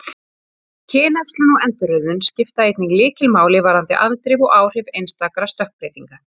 Kynæxlun og endurröðun skipta einnig lykilmáli varðandi afdrif og áhrif einstakra stökkbreytinga.